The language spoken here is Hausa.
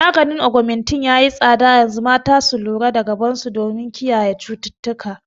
Maganin Augmentin yayi tsada yanzu, mata su lura da gaban su don kiyaye cututtuka